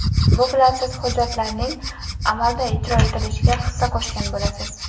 Bu bilan siz hujjatlarning amalda ijro etilishiga hissa qo‘shgan bo‘lasiz.